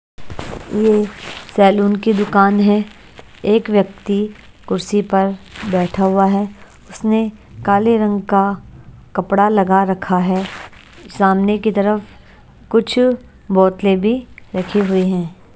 यह सैलून की दुकान है एक व्यक्ति कुर्सी पर बैठा हुआ है उसने काले रंग का कपड़ा लगा रखा है सामने की तरफ कुछ बोतलें भी रखी हुई हैं।